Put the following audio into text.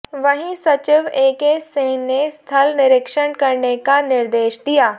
वहीं सचिव एके सिंह ने स्थल निरीक्षण करने का निर्देश दिया